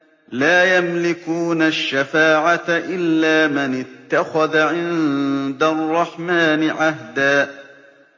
لَّا يَمْلِكُونَ الشَّفَاعَةَ إِلَّا مَنِ اتَّخَذَ عِندَ الرَّحْمَٰنِ عَهْدًا